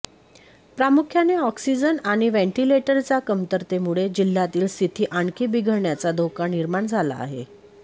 प्रामुख्याने ऑक्सिजन आणि व्हेंटिलेटरच्या कमतरतेमुळे जिल्ह्यातील स्थिती आणखी बिघडण्याचा धोका निर्माण झाला आहे